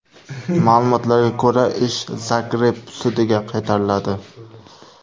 Ma’lumotlarga ko‘ra, ish Zagreb sudiga qaytariladi.